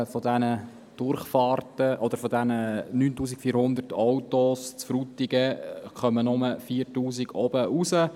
Von den 9400 Autos in Frutigen kommen nur 4000 oben wieder aus dem Dorf heraus.